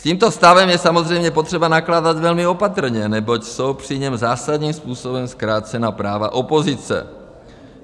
S tímto stavem je samozřejmě potřeba nakládat velmi opatrně, neboť jsou při něm zásadním způsobem zkrácena práva opozice.